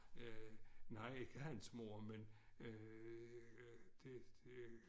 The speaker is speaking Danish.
Øh nej ikke hans mor men øh det det